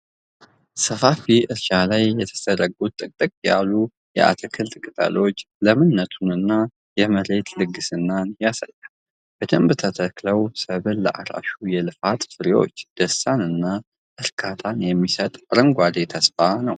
ሰፋፊ እርሻ ላይ የተዘረጉት ጥቅጥቅ ያሉ የአትክልት ቅጠሎች ለምነቱንና የመሬቱን ልግስና ያሳያሉ። በደንብ የተተከለው ሰብል ለአራሹ የልፋት ፍሬዎች፣ ደስታንና እርካታን የሚሰጥ አረንጓዴ ተስፋ ነው።